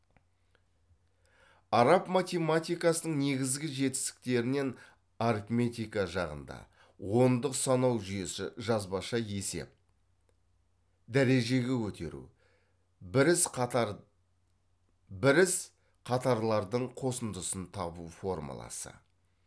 араб математикасының негізгі жетістіктерінен арифметика жағында ондық санау жүйесі жазбаша есеп дәрежеге көтеру біріз қатарлардың қосындысын табу формуласы